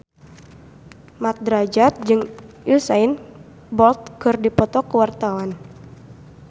Mat Drajat jeung Usain Bolt keur dipoto ku wartawan